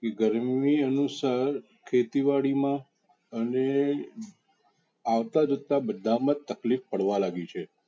કે ગરમી અનુસાર ખેતિવાડી મા અને આવતા જતા બધા મા તક્લીફ પડવાલાગી છે.